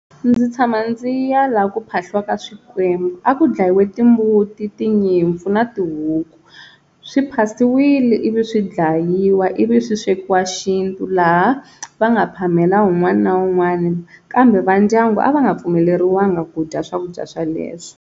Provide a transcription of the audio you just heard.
Ndzi tshama ndzi ya laha ku phahliwaka swikwembu a ku dlayiwe timbuti, tinyimpfu na tihuku, swi phasiwile ivi swi dlayiwa ivi swi swekiwa xintu laha va nga phamela un'wani na un'wani kambe va ndyangu a va nga pfumeleriwangi ku dya swakudya sweleswo.